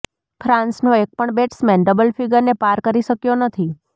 ફ્રાન્સનો એક પણ batsman double ફિગરને પાર કરી શક્યો નથી